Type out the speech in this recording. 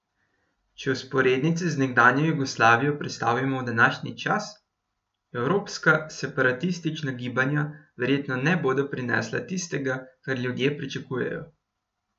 Če vzporednice z nekdanjo Jugoslavijo prestavimo v današnji čas, evropska separatistična gibanja verjetno ne bodo prinesla tistega, kar ljudje pričakujejo.